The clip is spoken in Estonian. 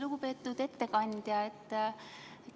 Lugupeetud ettekandja!